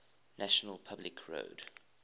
national public radio